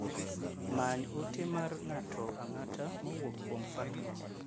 Many ote mar ng'ato ang'ata mowuok kuom Fatma.